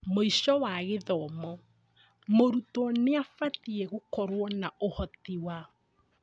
Mũico wa gĩthomo mũrutwo nĩabatie gũkorwo na ũhoti wa